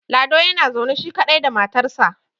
lado yana zaune shi kaɗai da matarsa